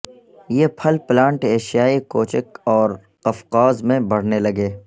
یہ پھل پلانٹ ایشیائے کوچک اور قفقاز میں بڑھنے لگے